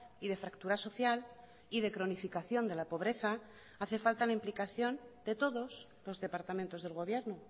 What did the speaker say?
y de fractura social y de cronificación de la pobreza hace falta la implicación de todos los departamentos del gobierno